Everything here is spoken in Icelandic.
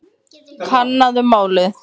Kannaðu málið.